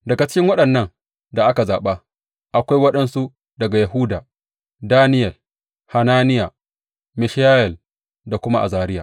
Daga cikin waɗannan da aka zaɓa akwai waɗansu daga Yahuda, Daniyel, Hananiya, Mishayel da kuma Azariya.